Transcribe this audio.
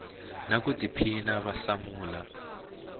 na ku tiphina va hlamula